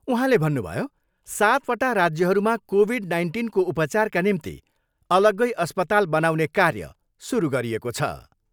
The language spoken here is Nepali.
उहाँले भन्नुभयो, सत् वटा राज्यहरूमा कोभिड नाइन्टिनको उपचारका निम्ति अलग्गै अस्पताल बनाउने कार्य सुरु गरिएको छ।